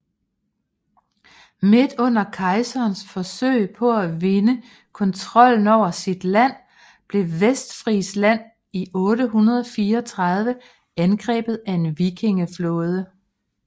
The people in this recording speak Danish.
Midt under kejserens forsøg på at vinde kontrollen over sit land blev Vestfrisland i 834 angrebet af en vikingeflåde